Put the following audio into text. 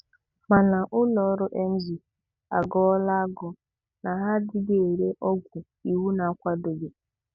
Mana ụlọọrụ Emzor agọọla agọ na ha anaghị ere ọ́gwụ̀ ìwú na-akwadoghi.